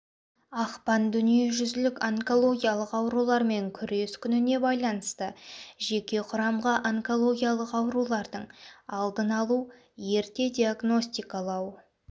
ақпан дүниежүзілік онкологиялық аурулармен күрес күніне байланысты жеке құрамға онкологиялық аурулардың алдын алу ерте диагностикалау